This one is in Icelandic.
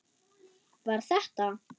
Var þetta.